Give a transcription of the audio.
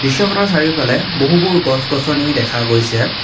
চাৰিওফালে বহুবোৰ গছ গছনি দেখা গৈছে।